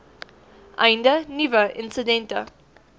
einde nuwe insidente